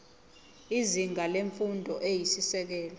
izinga lemfundo eyisisekelo